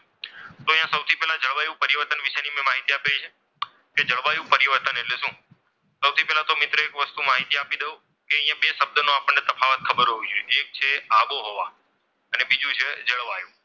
તો અહીંયા સૌથી પહેલા મેં અહીંયા જળવાયું પરિવર્તનની માહિતી આપેલી છે. કે જળવાયુ પરિવર્તન એટલે શું? સૌથી પહેલા તો મિત્રો એક વસ્તુ માહિતી આપી દઉં કે અહીંયા બે શબ્દોનો તફાવત આપણને ખબર હોવી જોઈએ કે એક જે છે આબોહવા અને બીજું છે જળવાયું.